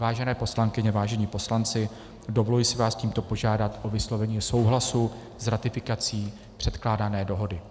Vážené poslankyně, vážení poslanci, dovoluji si vás tímto požádat o vyslovení souhlasu s ratifikací předkládané dohody.